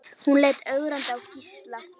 Hún leit ögrandi á Gísla.